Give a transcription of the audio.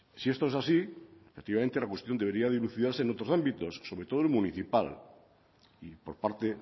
si esto es así efectivamente la cuestión debería dilucidarse en otros ámbitos sobre todo el municipal y por parte